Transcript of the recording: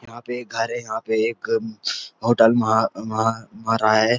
यहाँ पे एक घर है यहाँ पे एक होटल है।